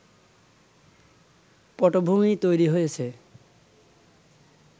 পটভুমি তৈরি হয়েছে